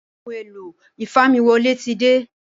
Ohun èlò ìfamiwọlé tí dé